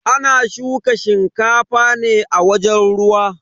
Ana shuka shinkafa ne a wajen ruwa.